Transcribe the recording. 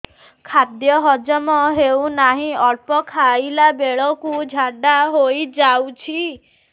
ଖାଦ୍ୟ ହଜମ ହେଉ ନାହିଁ ଅଳ୍ପ ଖାଇଲା ବେଳକୁ ଝାଡ଼ା ହୋଇଯାଉଛି